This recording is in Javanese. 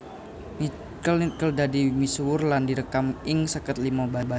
Nickel Nickel dadi misuwur lan direkam ing seket limo basa